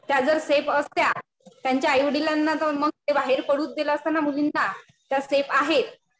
त्या जर सेफ असत्या. त्यांच्या आई वडिलांना जाऊन मग ते बाहेर पडूच दिलं असतं ना मुलींना. त्या सेफ आहेत.